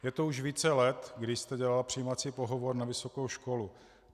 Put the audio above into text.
Je to už více let, kdy jste dělala přijímací pohovor na vysokou školu.